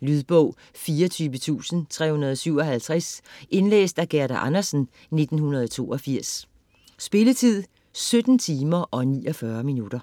Lydbog 24357 Indlæst af Gerda Andersen, 1982. Spilletid: 17 timer, 49 minutter.